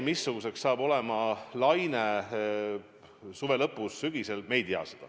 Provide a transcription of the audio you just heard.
Missugune saab olema laine suve lõpus või sügisel, me ei tea.